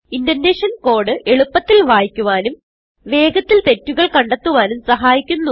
indentation code എളുപ്പത്തിൽ വായിക്കുവാനും വേഗത്തിൽ തെറ്റുകൾ കണ്ടെത്തുവാനും സഹായിക്കുന്നു